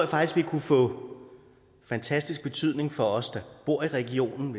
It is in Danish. faktisk vil kunne få fantastisk betydning for os der bor i regionen